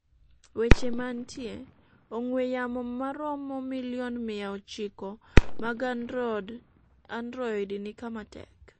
weche manitie: ong'we yamo maromo milion miya ochiko mag Android ni kama tek